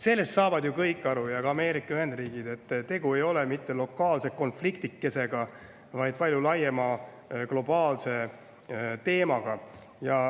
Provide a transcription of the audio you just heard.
Sellest saavad ju kõik aru, ka Ameerika Ühendriigid, et tegu ei ole lokaalse konfliktikesega, vaid palju laiema globaalse teemaga.